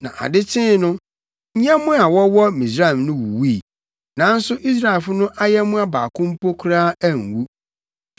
Na ade kyee no, nyɛmmoa a wɔwɔ Misraim no wuwui, nanso Israelfo no ayɛmmoa baako mpo koraa anwu.